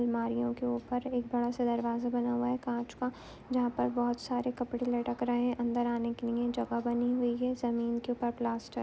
अलमारियों के ऊपर एक बड़ा सा दरवाजा बना हुआ है काँच का जहाँ पर बहोत सारे कपड़े लटक रहें हैं। अंदर आने के लिए जगह बनी हुई हैं। ज़मीन के ऊपर प्लास्टर --